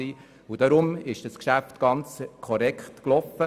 Deshalb lief dieses Geschäft völlig korrekt ab.